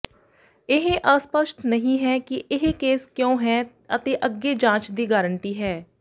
ਇਹ ਅਸਪਸ਼ਟ ਨਹੀਂ ਹੈ ਕਿ ਇਹ ਕੇਸ ਕਿਉਂ ਹੈ ਅਤੇ ਅੱਗੇ ਜਾਂਚ ਦੀ ਗਾਰੰਟੀ ਹੈ